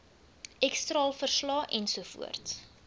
x straalverslae ensovoorts